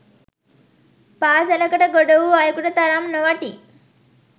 පාසලකට ගොඩ වූ අයෙකුට තරම් නොවටී